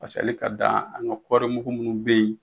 Paseke ali ka dan an ka kɔrimugu munnu be yen